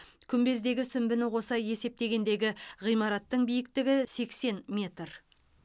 күмбездегі сүмбіні қоса есептегендегі ғимараттың биіктігі сексен метр